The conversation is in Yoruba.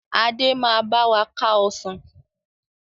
Adé máa báwa ká Ọsàn